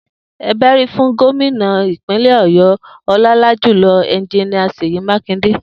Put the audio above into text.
E bérí fún Gómìnà ìpínlẹ̀ ọ̀yọ́, ọlọ́lájùlọ Engineer Sèyí Mákindé